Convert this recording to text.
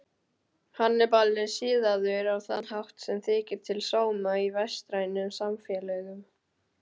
Hannibal er siðaður á þann hátt sem þykir til sóma í vestrænum samfélögum.